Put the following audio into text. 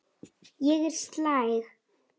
Ég er slæg.